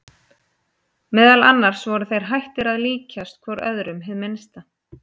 Meðal annars voru þeir hættir að líkjast hvor öðrum hið minnsta.